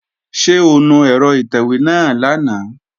Ṣé o nu ẹ̀rọ ìtẹ̀wé náà lánàá?